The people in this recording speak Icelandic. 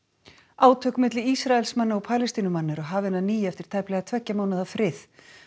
átök milli Ísraelsmanna og Palestínumanna eru hafin að nýju eftir tæplega tveggja mánaða frið